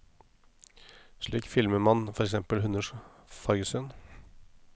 Slik filmer man for eksempel hunders fargesyn.